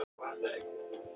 Lög um almannatryggingar.